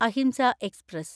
അഹിംസ express